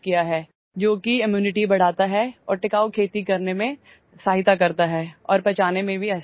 Which increases immunity and helps in sustainable farming and is also easy to digest